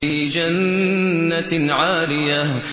فِي جَنَّةٍ عَالِيَةٍ